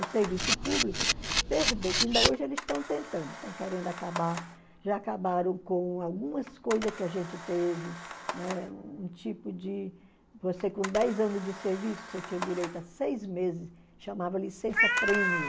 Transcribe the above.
O serviço público perder, que ainda hoje eles estão tentando, estão querendo acabar, já acabaram com algumas coisas que a gente teve, né, um tipo de... Você com dez anos de serviço, você tinha direito a seis meses, chamava licença-prêmio.